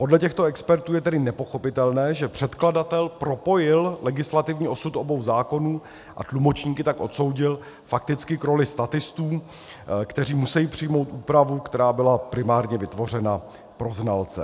Podle těchto expertů je tedy nepochopitelné, že předkladatel propojil legislativní osud obou zákonů, a tlumočníky tak odsoudil fakticky k roli statistů, kteří musejí přijmout úpravu, která byla primárně vytvořena pro znalce.